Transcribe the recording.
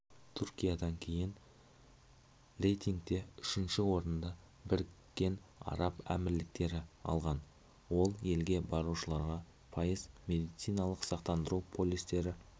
түркиядан кейін рейтингте үшінші орынды бірікке араб әмірліктері алған ол елге барушыларға пайыз медициналық сақтандыру полистері